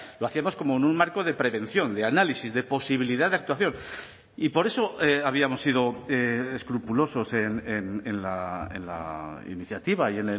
lo hacíamos como en un marco de prevención de análisis de posibilidad de actuación y por eso habíamos sido escrupulosos en la iniciativa y